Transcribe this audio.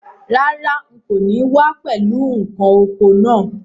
Rárá, n kò ní wá pẹ̀lú ǹkan oko naa